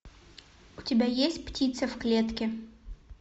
у тебя есть птица в клетке